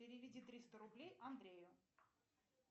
переведи триста рублей андрею